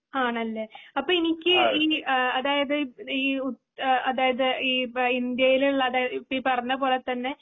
ആണല്ലേ അപ്പൊ എനിക്ക് ആ അതായതു ഈ ഉ അതായത് ഈ ഇന്ത്യയിൽ ഉള്ളത് അതായതു ഈ പറഞ്ഞ പോലെ തന്നെ.